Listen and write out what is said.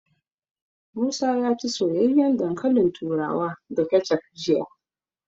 Musa ya ci soyayyen dankalin turawa da kecef jiya.